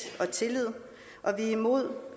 og tillid og at vi er imod